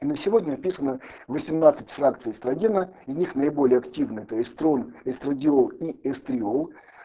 сегодня описано восемнадцать фракций найди на них наиболее активных эстрадиол эстриол